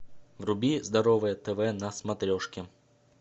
вруби здоровое тв на смотрешке